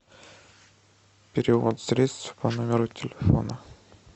перевод средств по номеру телефона